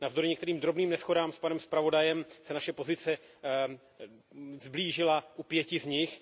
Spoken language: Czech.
Navzdory některým drobným neshodám s panem zpravodajem se naše pozice sblížila u pěti z nich.